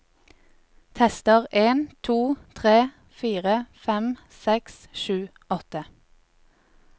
Tester en to tre fire fem seks sju åtte